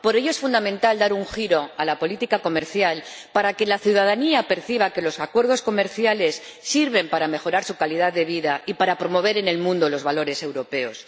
Por ello, es fundamental dar un giro a la política comercial, para que la ciudadanía perciba que los acuerdos comerciales sirven para mejorar su calidad de vida y para promover en el mundo los valores europeos.